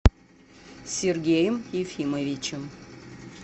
сергеем ефимовичем